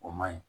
O man ɲi